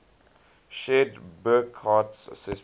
shared burckhardt's assessment